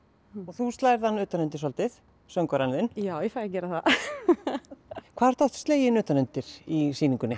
þú slærð hann utan undir svolítið söngvarann þinn já ég fæ að gera það hvað ertu oft sleginn utan undir í sýningunni